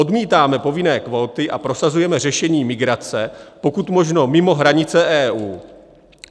Odmítáme povinné kvóty a prosazujeme řešení migrace pokud možno mimo hranice EU.